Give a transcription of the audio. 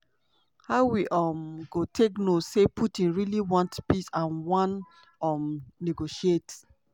"how we um go take know say putin really want peace and wan um negotiate?"